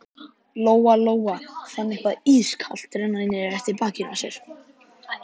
Lóa-Lóa fann eitthvað ískalt renna niður eftir bakinu á sér.